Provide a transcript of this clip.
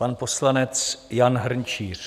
Pan poslanec Jan Hrnčíř.